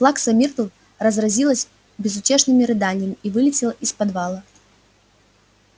плакса миртл разразилась безутешными рыданиями и вылетела из подвала